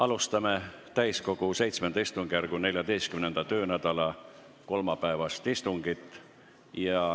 Alustame täiskogu VII istungjärgu 14. töönädala kolmapäevast istungit.